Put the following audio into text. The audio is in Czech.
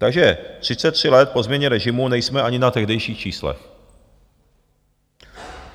Takže 33 let po změně režimu nejsme ani na tehdejších číslech.